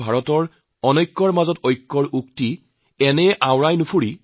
ভাৰতবৰ্ষৰ পাঁচশতকৈ অধিক জিলালৈ যোৱাৰ মোৰ সুযোগ হৈছে